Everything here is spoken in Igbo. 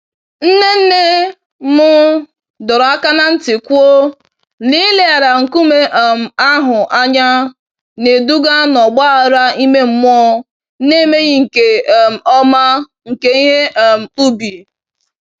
Nne nne m dọrọ aka ná ntị kwuo, n'ileghara nkume um ahụ anya na-eduga n'ọgba aghara ime mmụọ na emeghị nke um ọma nke ihe um ubi.